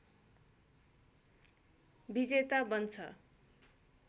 विजेता बन्छ